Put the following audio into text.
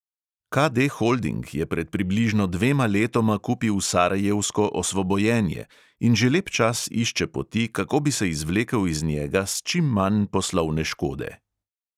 KD holding je pred približno dvema letoma kupil sarajevsko osvobojenje in že lep čas išče poti, kako bi se izvlekel iz njega s čim manj poslovne škode.